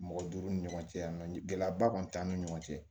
Mɔgɔ duuru ni ɲɔgɔn cɛ yan nɔ gɛlɛya ba kɔni t'an ni ɲɔgɔn cɛ